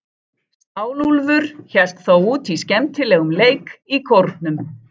Stálúlfur hélt þó út í skemmtilegum leik í Kórnum.